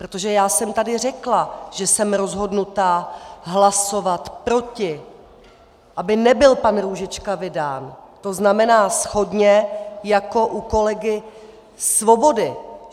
Protože já jsem tady řekla, že jsem rozhodnuta hlasovat proti, aby nebyl pan Růžička vydán, to znamená shodně jako u kolegy Svobody.